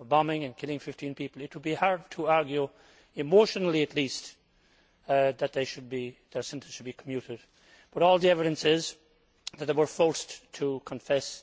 of bombing, and killing 15 people, it would be hard to argue, emotionally at least, that their sentence should be commuted, but all the evidence is that they were forced to confess.